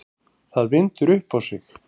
Það vindur upp á sig.